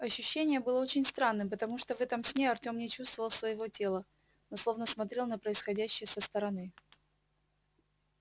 ощущение было очень странным потому что в этом сне артем не чувствовал своего тела но словно смотрел на происходящее со стороны